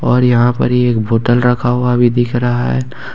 और यहां पर ही एक बोतल रखा हुआ भी दिख रहा है।